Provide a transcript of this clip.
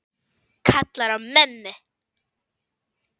Kallar á mömmu.